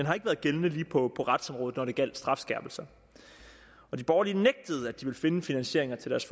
har ikke været gældende lige på retsområdet når det gjaldt strafskærpelser de borgerlige nægtede at finde finansiering til deres